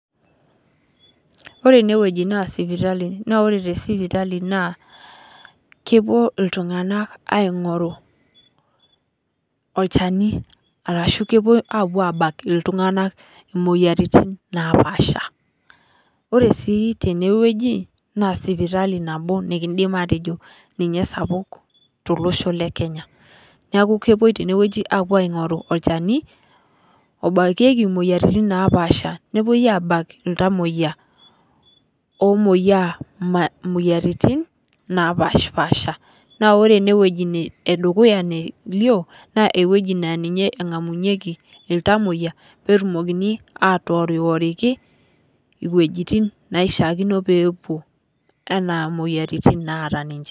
Ore eneweji naa sipitali ,ore te sipitali naa kepuo iltunganak aingoru olchani ,orashu kepuo apuo abak iltunganak imoyiaritin naapasha ,ore sii teneweji naa sipitali nikiindim atejo ninye esapuk tolosho lekenya, neeku kepoi teneweji apuo aingoru olchani obakieki moyiaritin napaasha mepuo abak iltamoyiak omoyiaa moyiaritin naapashpaasha .naa ore eneweji edukuya nelio naa ninye engamunyieki iltamoyiak pee etumokini atoworiworiki iwejitin naishaakino nepuo anaa moyiaritin naata ninche.